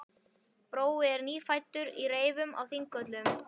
Brói nýfæddur í reifum á Þingvöllum.